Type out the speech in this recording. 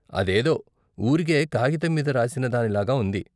అదేదో ఊరికే కాగితం మీద రాసిన దానిలాగా ఉంది.